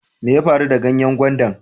Mai ya faru da ganyen gwandan?